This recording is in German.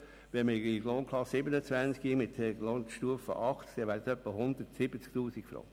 Wenn man die Lohnklasse 27 mit der Lohnstufe 80 annimmt, wären es etwa 170 000 Franken.